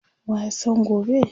waya San gobe?